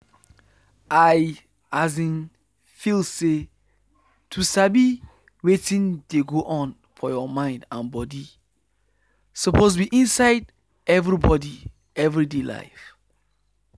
i um feel say to sabi wetin dey go on for your mind and body suppose be inside everybody every day life.